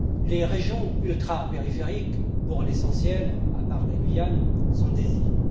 Les régions ultrapériphériques, pour l'essentiel, à part la Guyane, sont des îles.